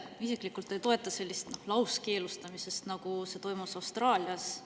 Ma isiklikult ei toeta sellist lauskeelustamist, nagu toimus Austraalias.